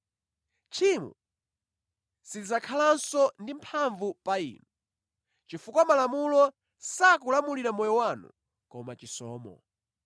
Tchimo silidzakhalanso ndi mphamvu pa inu, chifukwa Malamulo sakulamulira moyo wanu koma chisomo.